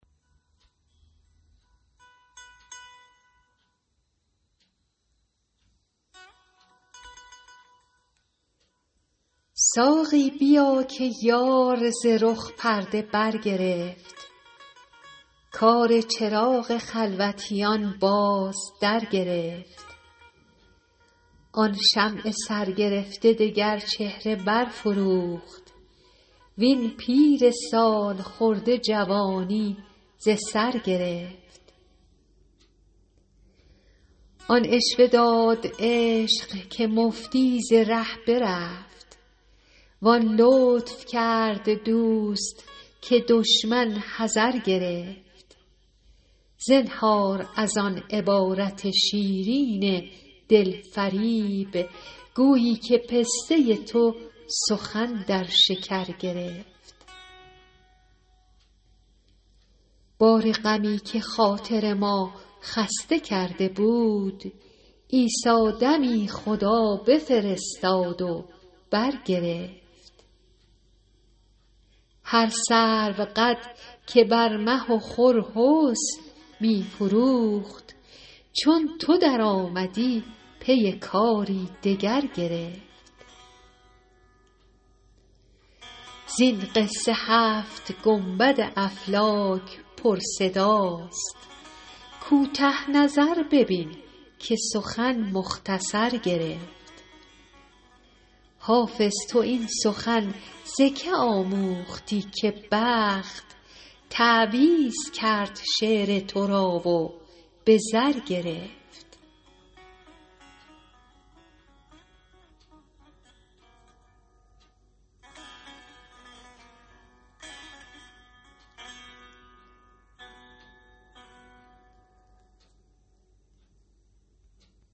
ساقی بیا که یار ز رخ پرده برگرفت کار چراغ خلوتیان باز درگرفت آن شمع سرگرفته دگر چهره برفروخت وین پیر سال خورده جوانی ز سر گرفت آن عشوه داد عشق که مفتی ز ره برفت وان لطف کرد دوست که دشمن حذر گرفت زنهار از آن عبارت شیرین دل فریب گویی که پسته تو سخن در شکر گرفت بار غمی که خاطر ما خسته کرده بود عیسی دمی خدا بفرستاد و برگرفت هر سروقد که بر مه و خور حسن می فروخت چون تو درآمدی پی کاری دگر گرفت زین قصه هفت گنبد افلاک پرصداست کوته نظر ببین که سخن مختصر گرفت حافظ تو این سخن ز که آموختی که بخت تعویذ کرد شعر تو را و به زر گرفت